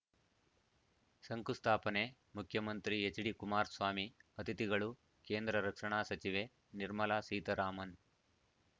ಶಂಕುಸ್ಥಾಪನೆ ಮುಖ್ಯಮಂತ್ರಿ ಎಚ್‌ಡಿಕುಮಾರಸ್ವಾಮಿ ಅತಿಥಿಗಳು ಕೇಂದ್ರ ರಕ್ಷಣಾ ಸಚಿವೆ ನಿರ್ಮಲಾ ಸೀತ್ ರಾಮನ್‌